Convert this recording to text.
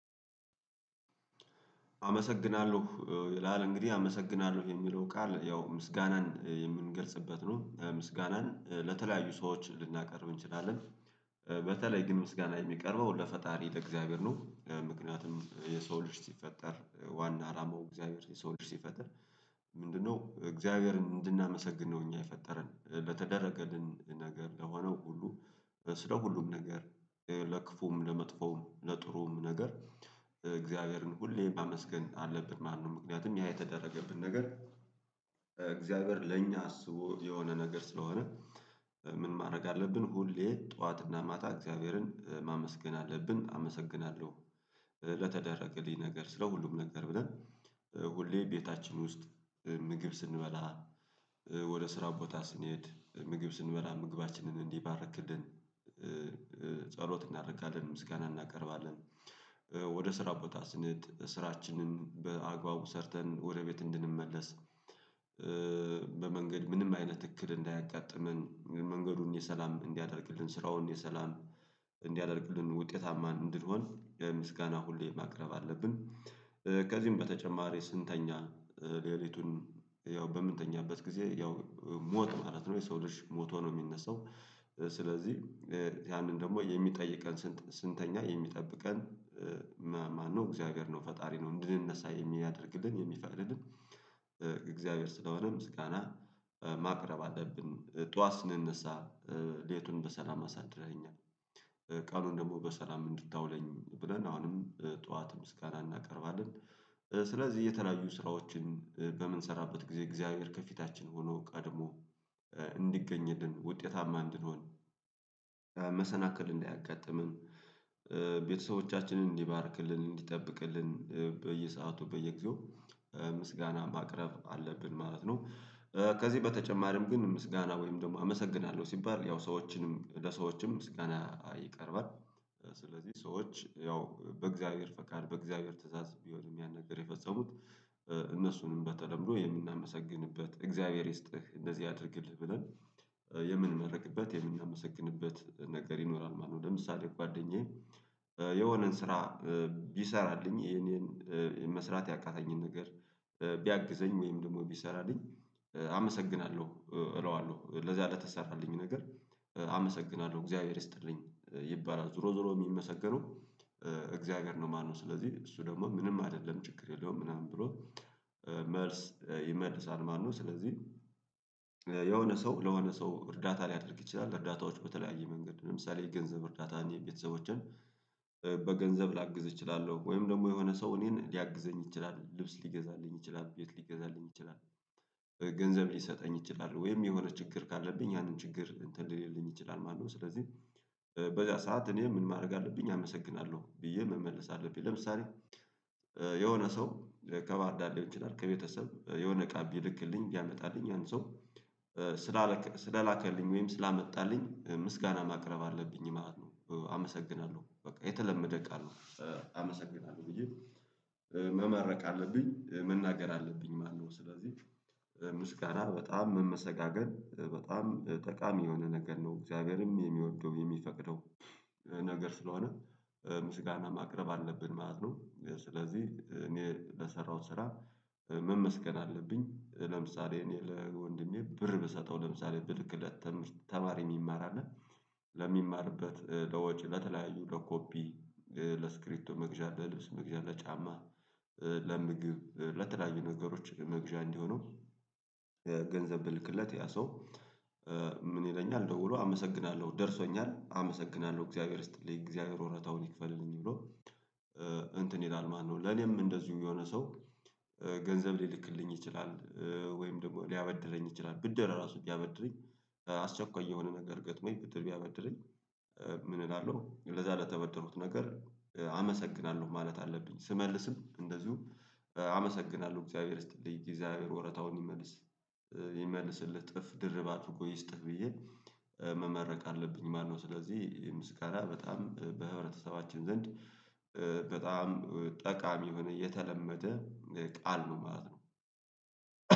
አመሰግናለሁ ይላል እንግዲህ አመሰግናለሁ የሚለው ቃል ያው ምስጋናን የምንገልጽበት ነው ምስጋናን ለተለያዩ ሰዎች ልናቀርብ እንችላለን። በተለይ ግን ምስጋና የሚቀርበው ለፈጣሪ ለእግዚአብሔር ነው። ምክንያቱም የሰው ልጅ ሲፈጠር ዋና ዓላማው እግዚአብሔር የሰው ልጅ ሲፈጥር? ምንድነው እግዚአብሔርን እንድናመሰግን ነው። እኛን የፈጠረን በተደረገን ነገር ለሆነው ሁሉ ስለ ሁሉም ነገር ለክፉም ለመጥፎም ለጥሩም ነገር እግዚአብሔርን ሁሌም ማመስገን አለብን ማለት ነው። ምክንያቱም ያ የተደረገልን ነገር እግዚአብሔር ለእኛ አስቦ የሆነ ነገር ስለሆነ። ምን ማድረግ አለብን ሁሌም ጠዋትና ማታ እግዚአብሔርን ማመስገን አለብን አመሰግናለሁ። ለተደረገልኝ ነገር ስለ ሁሉም ነገር ብለን ሁሌም ቤታችን ውስጥ ምግብ ስንበላ ወደ ስራ ቦታ ስንሄድ ምግብ ስንበላ ምግባችንን እንዲባርክልን ጸሎት እናደርጋለን ምስጋና እናቀርባለን። ወደ ስራ ቦታ ስንሔድ ስራችንን በአግባቡ ሰርተን ወደ ቤት እንድንመለስ በመንገድ ምንም አይነት እክል እንዳያጋጥመን መንገዱን የሰላም እንዲያደርግልን ስራውን የሰላም እንዲያደርግልን ውጤታማ እንድሆን ምስጋና ሁሌም ማቅረብ አለብን። ከዚህም በተጨማሪ ስንተኛ ሌሊቱን ያው በምንተኛበት ጊዜ ያው ሞት ማለት ነው የሰው ሞቶ ነው የሚነሳው። ስለዚህ ያንን ደግሞ ስንተኛ የሚጠብቀን ማነው? እግዚአብሔር ነው ፈጣሪ ነው እንድንነሳ የሚያደርገን የሚፈቅድልን እግዚአብሔር ስለሆነ ምስጋና ማቅረብ አለብን። ጧት ስንነሳ ሌሊቱን በሰላም አሳድረኸኛል ቀኑን ደግሞ በሰላም እንድታውለኝ ብለን አሁንም ጠዋት ምስጋና እናቀርባለን። ስለዚህ የተለያዩ ስራዎችን በምንሰራበት ጊዜ እግዚአብሔር ከፊታችን ሆኖ ቀድሞ እንዲገኝልን ውጤታማ እንድንሆን መሰናክል እንዳያጋጥመን ቤተሰቦቻችንን እንዲባርክልን እንዲጠብቅልን በየሰአቱ በየጊዜው ምስጋና ማቅረብ አለብን ማለት ነው። ከዚህ በተጨማሪም ግን ምስጋና ወይም ደግሞ አመሰግናለሁ ሲባል ያው ሰዎችንም ለሰዎችም ምስጋና ይቀርባል። ስለዚህ ሰዎች ያው በእግዚአብሔር ፈቃድ በእግዚአብሔር ትእዛዝ ቢሆንም ያን ነገር የፈጸሙት እነሱንም በተለምዶ የምናመሰግንበት እግዚአብሔር ይስጥህ እንደዚህ ያድርግልህ ብለን የምንመረቅበት የምናመሰግንበት ነገር ይኖራል ማለት ነው። ለምሳሌ ጓደኛዬ የሆነን ስራ ቢሰራልኝ የእኔን መስራት ያቃተኝን ነገር ቢያግዘኝ ወይም ደግሞ ቢሰራልኝ አመሰግናለሁ እለዋለሁ ለዚያ ለተሰራልኝ ነገር አመሰግናለሁ እግዚአብሔር ይስጥልኝ ይባላል ዞሮ ዞሮ የሚመሰገነው እግዚአብሔር ነው ማለት ነው። ስለዚህ እሱ ደግሞ ምንም አይደለም ችግር የለውም ምናምን ብሎ መልስ ይመልሳል ማነው? ስለዚህ የሆነ ሰው ለሆነ ሰው እርዳታ ሊያደርግ ይችላል እርዳታዎቹ በተለያየ መንገድ ለምሳሌ የገንዘብ እርዳታ እኔ ቤተሰቦቸን በገንዘብ ላግዝ እችላለሁ። ወይም ደግሞ የሆነ ሰው እኔን ሊያግዘኝ ይችላል ልብስ ሊገዛልኝ ይችላል ቤት ሊገዛልኝ ይችላል። ገንዘብ ሊሰጠኝ ይችላል ወይም የሆነ ችግር ካለብኝ ያንን ችግር እንትን ሊልኝ ይችላል ማለት ነው። ስለዚህ በዚያ ሰዓት እኔ ምን ማድረግ አለብኝ አመሰግናለሁ ብዬ መመለስ አለብኝ። ለምሳሌ የሆነ ሰው ከባርዳር ሊሆን ይችላል ከቤተሰብ የሆነ እቃ ቢልክልኝ ቢያመጣልኝ አንድ ሰው ስለላከልኝ ወይም ስላመጣልኝ ምስጋና ማቅረብ አለብኝ ማለት ነው። አመሰግናለሁ በቃ የተለመደ ቃል ነው። አመሰግናለሁ ብዬ መመረቅ አለብኝ መናገር አለብኝ ማለት ነው። ስለዚህ ምስጋና በጣም መመሰጋገን በጣም ጠቃሚ የሆነ ነገር ነው እግዚአብሔርም የሚወደው የሚፈቅደው ነገር ስለሆነ ምስጋና ማቅረብ አለብን ማለት ነው። ስለዚህ እኔ ለሰራሁት ስራ መመስገን አለብኝ። ለምሳሌ እኔ ለወንድሜ ብር ብሰጠው ለምሳሌ ብልክለት ተማሪ የሚማር አለ። ለሚማርበት ለወጪ ለተለያዩ ለኮፒ ለእስክቢቶ መግዣ ለልብስ መግዣ ለጫማ ለምግብ ለተለያዩ ነገሮች ለመግዣ እንዲሆነው ገንዘብ ብልክለት ያ ሰው። ምን ይለኛል? ደውሎ አመሰግናለሁ ደርሶኛል አመሰግናለሁ እግዚአብሔር ይስጥልኝ እግዚአብሔር ወረታውን ይክፈልልኝ ብሎ። እንትን ይላል ማነው? ለኔም እንደዚሁ የሆነ ሰው ገንዘብ ሊልክልኝ ይችላል። ወይም ደግሞ ሊያበድረኝ ይችላል ብድር ራሱ ቢያበድረኝ አስቸኳይ የሆነ ነገር ገጥሞኝ ብድር ቢያበድረኝ። ምን እላለሁ ለዛ ለተበደርኩት ነገር አመሰግናለሁ ማለት አለብኝ። ስመልስም እንደዚሁ አመሰግናለሁ እግዚአብሔር ይስጥልኝ እግዚአብሔር ወረታውን ይመልስ ይመልስልህ እጥፍ ድርብ አድርጎ ይስጥህ ብዬ መመረቅ አለብኝ ማለት ነው። ስለዚህ ምስጋና በጣም በህብረተሰባችን ዘንድ በጣም ጠቃሚ የሆነ የተለመደ ቃል ነው ማለት ነው።